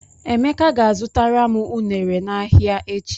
Emeka ga-azụtara m ụnere n'ahịa echi.